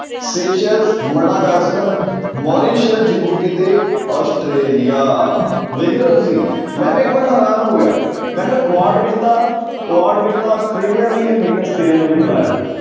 Madagascar Mauritius, Djibouti ਤੇ Australia ਵੇਖ ਰਹੇ ਹੋ ਤੁਸੀਂ ਮੈਂ ਵੀ ਇੱਕ ਵਾਰ ਹੈਰਾਨ ਹੋ ਗਿਆ ਮੈਂ ਕਿਹਾ ਕੁਆਡ ਵਿੱਚ ਤਾਂ ਕੁਆਡ ਵਿੱਚ ਤਾਂ ਆਸਟ੍ਰੇਲੀਆ ਵੀ ਹੈ ਲੇਕਿੰਨ ਆਸਟ੍ਰੇਲੀਆ ਨੂੰ ਵੀ ਬੁਲਾਇਆ ਹੋਇਆ।